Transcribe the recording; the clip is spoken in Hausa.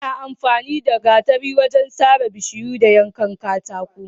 Ana amfani da gatari wajen fadowar bishiyu da yankan katako